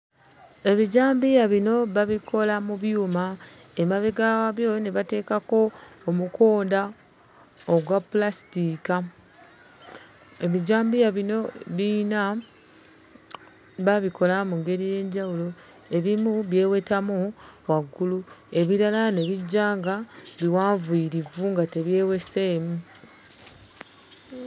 Ebijambiya bino babikola mu byuma. Emabega waabyo ne bateekako omukonda ogwa pulasitiika. Ebijambiya bino biyina baabikola mu ngeri ey'enjawulo; ebimu byewetamu waggulu, ebirala ne bijja nga biwanvuyirivu nga tebyeweseemu.